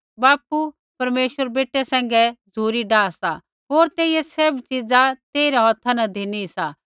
बापू परमेश्वर बेटै सैंघै झ़ुरी डाहा सा होर तेइयै सैभ च़ीज़ा तेइरै हौथा न धिना सा